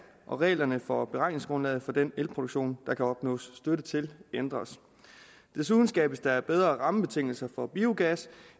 og reglerne for beregningsgrundlaget for den elproduktion der kan opnås støtte til ændres desuden skabes der bedre rammebetingelser for biogas